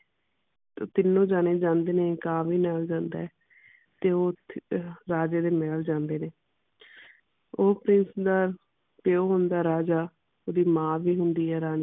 ਤੀਨੋ ਜਾਣੇ ਜਾਂਦੇ ਨੇ ਕਾਂ ਵੀ ਨਾਲ ਜਾਂਦਾ ਹੈ ਤੇ ਓਥੇ ਅਹ ਰਾਜੇ ਦੇ ਮਹਿਲ ਜਾਂਦੇ ਨੇ ਉਹ prince ਨਾਲ ਪਿਉ ਹੁੰਦਾ ਰਾਜਾ ਓਹਦੀ ਮਾਂ ਵੀ ਹੁੰਦੀ ਹੈ ਰਾਣੀ।